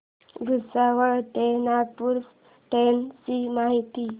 भुसावळ ते नागपूर च्या ट्रेन ची माहिती